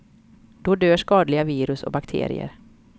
Då dör skadliga virus och bakterier.